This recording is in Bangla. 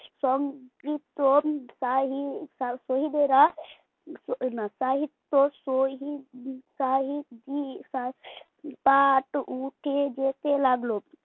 সনক্রিপ্ত শহিদেরা না সাহিত্য শহিদ উঠে যেতে লাগলো